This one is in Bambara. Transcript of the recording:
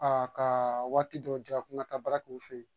A ka waati dɔ ja ko n ka taa baara kɛ u fɛ yen